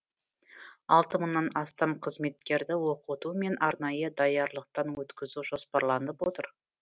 алты мыңнан астам қызметкерді оқыту мен арнайы даярлықтан өткізу жоспарланып отыр